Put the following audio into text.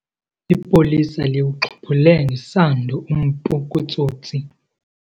Ipolisa liwuxhiphule ngesando umpu kutsotsi.